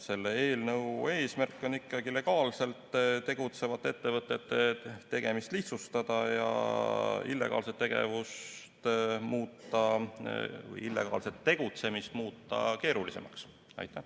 Selle eelnõu eesmärk on ikkagi legaalselt tegutsevate ettevõtete tegevust lihtsustada ja illegaalset tegevust keerulisemaks muuta.